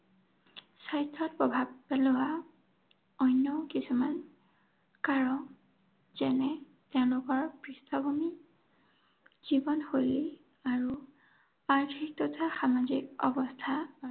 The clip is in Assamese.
স্বাস্থ্যত প্ৰভাৱ পেলোৱা অন্য কিছুমান কাৰক যেনে তেওঁলোকৰ পৃষ্ঠভূমি, জীৱনশৈলী আৰু আৰ্থিক তথা সামাজিক অৱস্থা